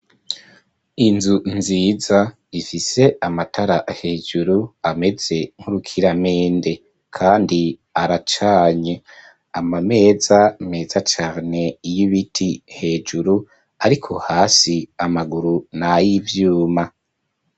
Inzu nziza ifise amatara hejuru ameze nk'urukiramende, kandi aracanye. Ama meza meza cane y'ibiti hejuru, ariko hasi amaguru ni ay'ivyuma.